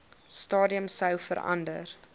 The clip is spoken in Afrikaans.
stadium sou verander